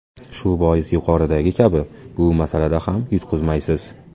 Shu bois, yuqoridagi kabi, bu masalada ham yutqizmaysiz.